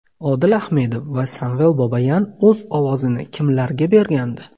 Odil Ahmedov va Samvel Babayan o‘z ovozini kimlarga bergandi?